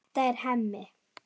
Þetta er Hemmi.